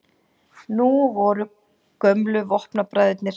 Nú voru gömlu vopnabræðurnir